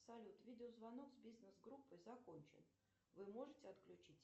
салют видео звонок с бизнес группой закончен вы можете отключить